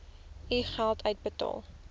u geld uitbetaal